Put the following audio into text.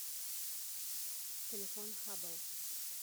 телефон хабл